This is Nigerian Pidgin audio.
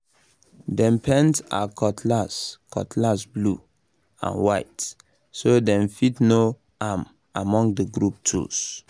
dem paint her cutlass cutlass blue and white so dem fit know am among the group tools